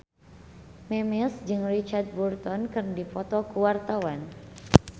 Memes jeung Richard Burton keur dipoto ku wartawan